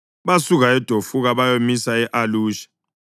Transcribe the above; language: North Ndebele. Basuka eDofuka bayamisa e-Alusha.